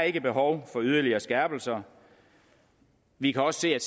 ikke behov for yderligere skærpelser vi kan også